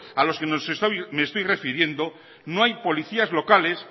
a los que me estoy refiriendo no hay policías locales